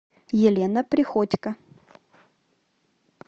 елена приходько